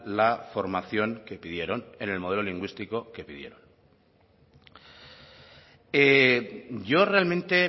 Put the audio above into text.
la formación que pidieron en el modelo lingüístico que pidieron yo realmente